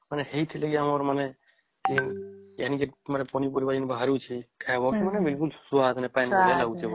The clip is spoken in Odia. ହେଇଥିଲେ ବି ଆମର ମାନେ ଏହା ମାନେ ପନି ପରିବା ଯେମିତି ବାହାରୁଛେ ଖାଇବର ମାନେ ଵିକଲୁଲ ସ୍ୱାଦ ନାହିଁ ପାଣିଚିଆ ଲାଗୁଛେ